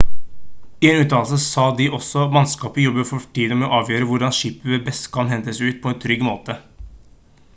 i en uttalelse sa de også: «mannskapet jobber for tiden med å avgjøre hvordan skipet best kan hentes ut på en trygg måte»